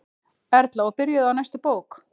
Erla: Og byrjuð á næstu bók?